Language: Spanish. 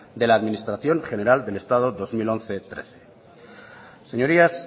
de la administración general del estado dos mil once dos mil trece señorías